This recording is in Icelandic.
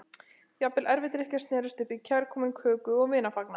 Jafnvel erfisdrykkjur snerust upp í kærkominn köku- og vinafagnað.